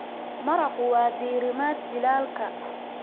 Maraqku waa diirimaad jiilaalka.